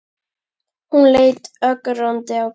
Hún leit ögrandi á Gísla.